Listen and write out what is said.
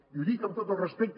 i ho dic amb tot el respecte